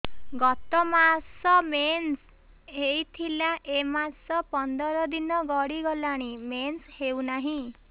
ଗତ ମାସ ମେନ୍ସ ହେଇଥିଲା ଏ ମାସ ପନ୍ଦର ଦିନ ଗଡିଗଲାଣି ମେନ୍ସ ହେଉନାହିଁ